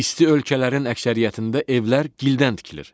İsti ölkələrin əksəriyyətində evlər gildən tikilir.